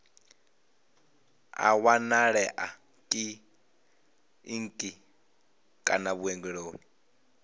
a wanalea kiḽiniki kana vhuongeloni